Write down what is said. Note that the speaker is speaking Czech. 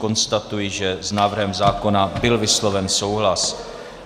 Konstatuji, že s návrhem zákona byl vysloven souhlas.